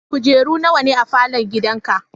Kujeru nawa ne a falon gidanka?